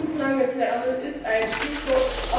Lebenslanges Lernen ist ein Stichwort.